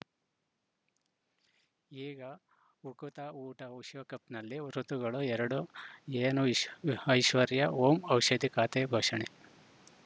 ಈಗ ಉಕುತ ಊಟ ವಿಶ್ವಕಪ್‌ನಲ್ಲಿ ಋತುಗಳು ಎರಡು ಏನು ಇಸ್ ಐಶ್ವರ್ಯಾ ಓಂ ಔಷಧಿ ಖಾತೆ ಘೋಷಣೆ